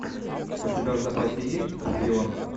у тебя в запасе есть шпионка